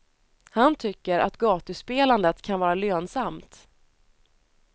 Han tycker att gatuspelandet kan vara lönsamt.